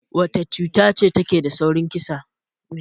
Wacce cuta ce take da saurin kissa?